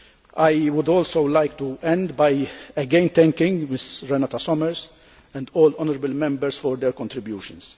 I would like to end by again thanking Mrs Renate Sommer and all honourable Members for their contributions.